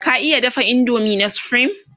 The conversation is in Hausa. ka iya dafa indomie na supreme?